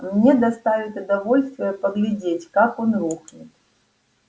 мне доставит удовольствие поглядеть как он рухнет